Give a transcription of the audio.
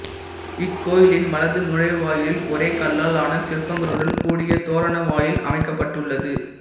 இக்கோயிலின் வலது நுழைவாயிலில் ஒரே கல்லால் ஆன சிற்பங்களுடன் கூடிய தோரண வாயில் அமைக்கப்பட்டுள்ளது